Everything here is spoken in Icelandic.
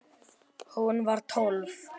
Hún var tólf.